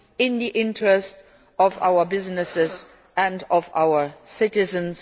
in the interests of our businesses and of our citizens.